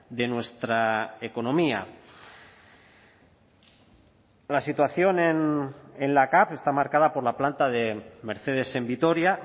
de nuestra economía la situación en la cav está marcada por la planta de mercedes en vitoria